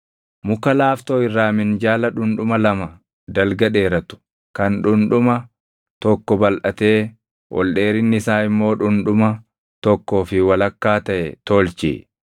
“Muka laaftoo irraa minjaala dhundhuma lama dalga dheeratu, kan dhundhuma tokko balʼatee ol dheerinni isaa immoo dhundhuma tokkoo fi walakkaa taʼe tolchi.